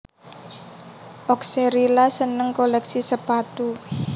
Oxcerila seneng kolèksi sepatu